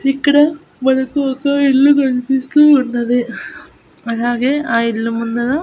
ఇక్కడ మనకు ఒక ఇల్లు కనిపిస్తూ ఉన్నది అలాగే ఆ ఇల్లు ముందర.